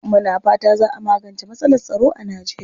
Muna fata za a magance matsalar tsaro a Nijeriya.